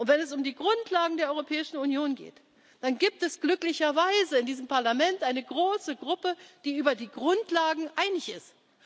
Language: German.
Und wenn es um die Grundlagen der Europäischen Union geht, dann gibt es glücklicherweise in diesem Parlament eine große Gruppe, die über die Grundlagen einig